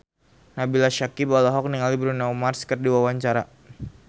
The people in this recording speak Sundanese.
Nabila Syakieb olohok ningali Bruno Mars keur diwawancara